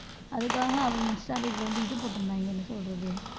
அதுக்காக அவங்க Insta page ல வந்து இது போட்டிருந்தாங்க என்ன சொல்றது